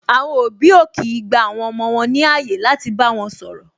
Àwọn òbí ò kii gba àwọn ọmọ wọn ní ààyè láti bá wọn sọ̀rọ̀